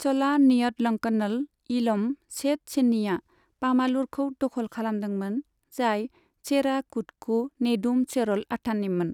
चला नेयतलंकनल इलम सेट चेन्निआ पामालुरखौ दख'ल खालामदोंमोन, जाय चेरा कुदको नेदुम चेरल अथाननिमोन।